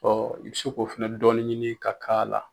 Ɔ i bɛ se k'o fɛnɛ dɔɔni ɲini ka k'ala.